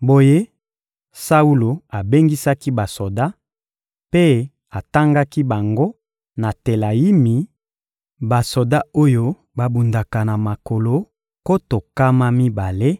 Boye Saulo abengisaki basoda, mpe atangaki bango na Telayimi: basoda oyo babundaka na makolo, nkoto nkama mibale;